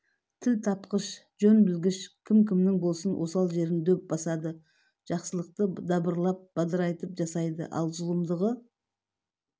тіл тапқыш жөн білгіш кім-кімнің болсын осал жерін дөп басады жақсылықты дабыралап бадырайтып жасайды ал зұлымдығы